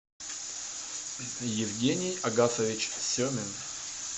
евгений агатович семин